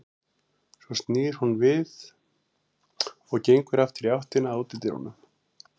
Svo snýr hún við og gengur aftur í áttina að útidyrum.